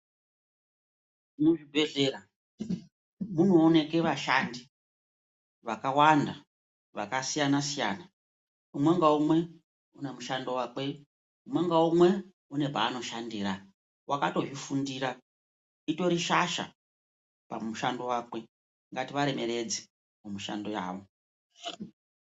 Muzvibhehlera munooneke vashandi vakawanda vaksiyanasiyana ,umwe ngaumwe unemushando wakwe ,umwe ngaumwe uno paanoshandira wakato zvifundira, utori shasha pamushando wakwe, ngativaremeredze mumishando yavo.